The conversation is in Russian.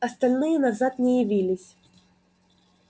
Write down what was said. остальные назад не явились